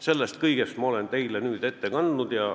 Sellest kõigest ma olen teile nüüd ette kandnud.